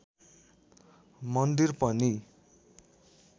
मन्दिर पनि